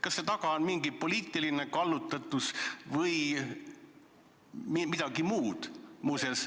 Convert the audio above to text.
Kas seal taga on mingi poliitiline kallutatus või midagi muud?